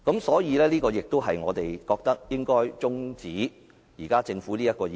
所以，這亦是我們覺得辯論應該中止待續的原因。